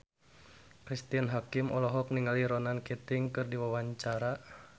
Cristine Hakim olohok ningali Ronan Keating keur diwawancara